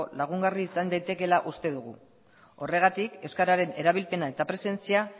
lagungarri izan daitekeela uste dugu horregatik euskararen erabilpena eta presentzia